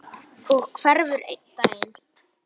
Og hverfur einn daginn.